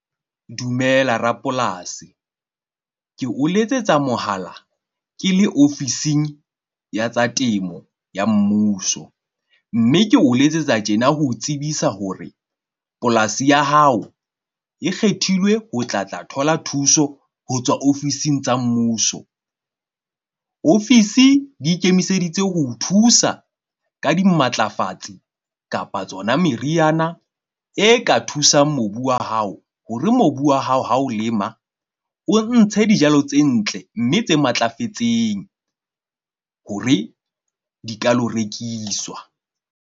Dumela rapolasi. Ke o letsetsa mohala ke le ofising ya tsa temo ya mmuso. Mme ke o letsetsa tjena. Ho o tsebisa hore polasi ya hao e kgethilwe ho tla tla thola thuso ho tswa ofising tsa mmuso. Ofisi di ikemiseditse ho o thusa ka dimatlafatsi kapa tsona meriana e ka thusang mobu wa hao, hore mobu wa hao ha o lema, o ntshe dijalo tse ntle mme tse matlafetseng hore di ka lo rekiswa.